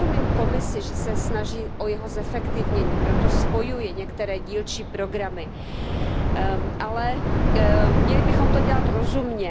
Já rozumím Komisi, že se snaží o jeho zefektivnění, proto spojuje některé dílčí programy, ale měli bychom to dělat rozumně.